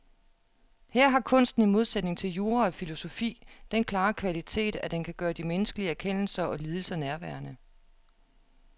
Her har kunsten i modsætning til jura og filosofi den klare kvalitet, at den kan gøre de menneskelige erkendelser og lidelser nærværende.